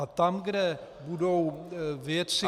A tam, kde budou věci, které -